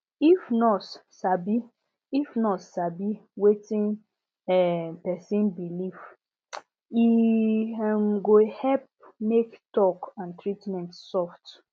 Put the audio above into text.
if nurse sabi if nurse sabi wetin um person believe e um go help make talk and treatment soft um